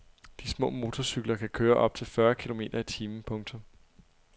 De små motorcykler kan køre op til fyrre kilometer i timen. punktum